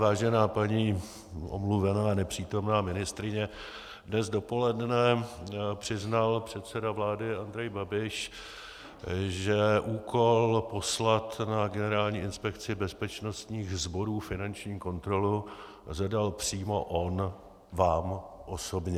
Vážená paní omluvená nepřítomná ministryně, dnes dopoledne přiznal předseda vlády Andrej Babiš, že úkol poslat na Generální inspekci bezpečnostních sborů finanční kontrolu zadal přímo on vám osobně.